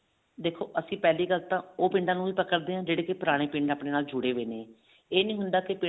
ਦੇਖੋ ਅਸੀਂ ਪਹਿਲੀ ਗੱਲ ਤਾਂ ਉਹ ਪਿੰਡਾਂ ਨੂੰ ਹੀ ਪਕੜ ਦੇ ਹਾਂ ਜਿਹੜੇ ਕੀ ਪੁਰਾਣੇ ਪਿੰਡ ਆਪਣੇ ਨਾਲ ਜੁੜੇ ਹੋਏ ਨੇ ਇਹ ਨੀ ਹੁੰਦਾ